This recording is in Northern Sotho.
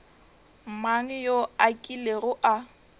mang yo a kilego a